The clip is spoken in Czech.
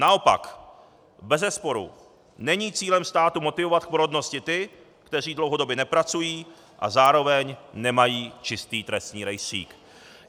Naopak bezesporu není cílem státu motivovat k porodnosti ty, kteří dlouhodobě nepracují a zároveň nemají čistý trestní rejstřík.